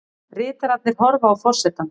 Ritararnir horfa á forsetann.